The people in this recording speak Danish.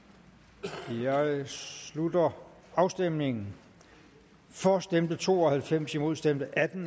vi jeg slutter afstemningen for stemte to og halvfems imod stemte atten